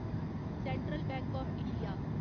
central bank of India